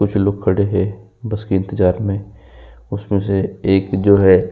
कुछ लोग खड़े हैं बस के इंतजार में उसमे से एक जो है --